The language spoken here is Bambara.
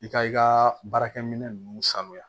I ka i ka baarakɛminɛn ninnu sanuya